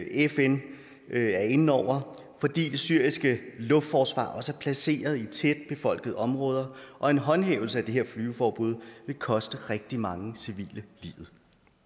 fn er inde over fordi det syriske luftforsvar også er placeret i tætbefolkede områder og en håndhævelse af det her flyveforbud vil koste rigtig mange civile livet